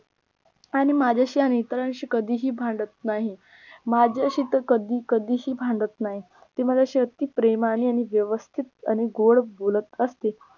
आणि माझ्याशी आणि इतरांची कधीही भांडत नाही माझ्याशी तर कधी कधीशी भांडत नाही ती माझ्याशी अगदी प्रेमाने आणि व्यवस्थित आणि गोड बोलत असते.